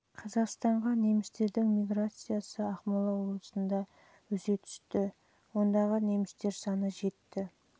қазақстанға немістердің миграциясы ақмола облысында өсе түсті жылы ондағы немістер саны жетті